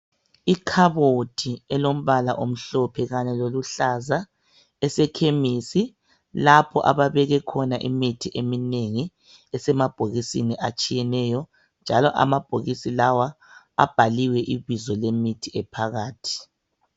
Ikhabothi elombala omhlophe kanye loluhlaza elisechemis lapho ababeke khona imithi eminengi esemabhokisini atshiyeneyo. Amabhokisi lawa abhaliwe ibizo lemithi ephakathi.